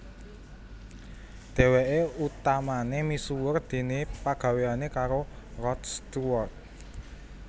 Dhèwèké utamané misuwur déné pagawéyané karo Rod Stewart